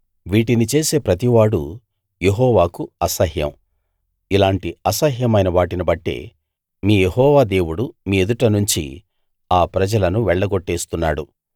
వీటిని చేసే ప్రతివాడూ యెహోవాకు అసహ్యం ఇలాంటి అసహ్యమైన వాటిని బట్టే మీ యెహోవా దేవుడు మీ ఎదుట నుంచి ఆ ప్రజలను వెళ్లగొట్టేస్తున్నాడు